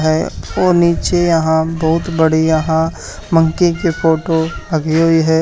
अए और नीचे यहां बहुत बढ़िया मंकी के फोटो लगी हुई है।